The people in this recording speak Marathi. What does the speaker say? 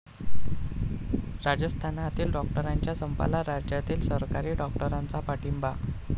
राजस्थानातील डॉक्टरांच्या संपाला राज्यातील सरकारी डॉक्टरांचा पाठिंबा